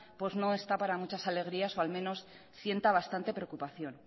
no está para muchas alegrías o al menos sienta bastante preocupación